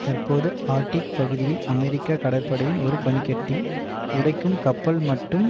தற்போது ஆர்டிக் பகுதியில் அமெரிக்க கடற்படையின் ஒரு பனி கட்டி உடைக்கும் கப்பல் மட்டும்